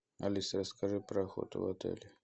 алиса расскажи про охоту в отеле